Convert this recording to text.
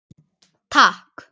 Takk